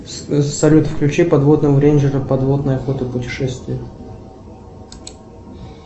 салют включи подводного рейнджера подводная охота путешествия